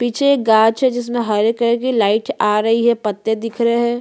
पीछे गाज है जिस में हरे कलर की लाइट आ रही है पत्ते दिख रहे है।